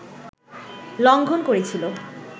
লংঘন করেছিল